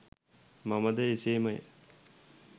මමද එසේමය